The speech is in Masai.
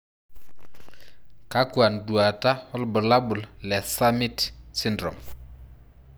Kakwa nduata wobulabul le summitt syndrome?